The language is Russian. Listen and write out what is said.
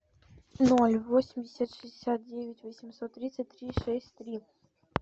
ноль восемьдесят шестьдесят девять восемьсот тридцать три шесть три